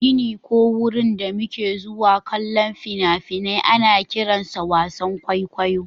Gini ko wurin da muke zuwa kallon fina-finai ana kiransa wasan kwaikwayo